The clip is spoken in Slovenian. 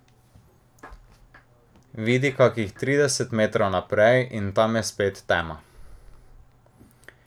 Vidi kakih trideset metrov naprej, in tam je spet tema.